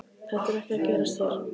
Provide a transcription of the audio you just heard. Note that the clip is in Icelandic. Þetta er ekki að gerast hér.